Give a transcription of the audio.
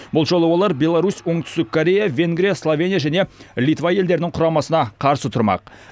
бұл жолы олар беларусь оңтүстік корея венгрия словения және литва елдерінің құрамасына қарсы тұрмақ